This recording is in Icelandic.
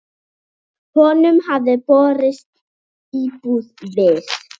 Honum hafði boðist íbúð við